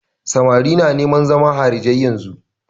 Samari na neman zama harijai yanzun.